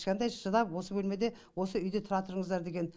кішкентай шыдап осы бөлмеде осы үйде тұра тұрыңыздар деген